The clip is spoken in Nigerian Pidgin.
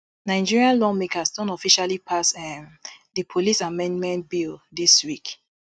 nigeria lawmakers don officially pass um di police amendment bill dis week